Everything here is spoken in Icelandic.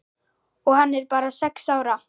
Og hann er bara sex ára.